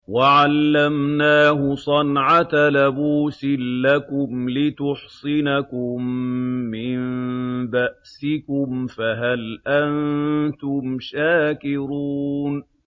وَعَلَّمْنَاهُ صَنْعَةَ لَبُوسٍ لَّكُمْ لِتُحْصِنَكُم مِّن بَأْسِكُمْ ۖ فَهَلْ أَنتُمْ شَاكِرُونَ